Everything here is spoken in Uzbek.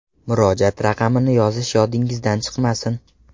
Murojaat raqamini yozish yodingizdan chiqmasin.